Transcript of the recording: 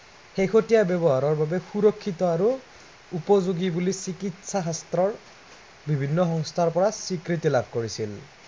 শেহতীয়া ব্য়ৱহাৰৰ বাবে সুৰক্ষিত আৰু উপযোগী বুলি চিকিৎসা শাস্ত্ৰৰ বিভিন্ন সংস্থাৰ পৰা স্বীকৃতি লাভ কৰিছিল।